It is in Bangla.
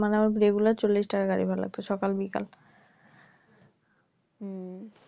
মানে আমার regular চল্লিশ টাকা করে গাড়ি ভাড়া লাগতো